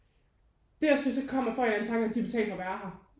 Det er også fordi så kommer jeg får jeg en eller anden tanke om de betaler for at være her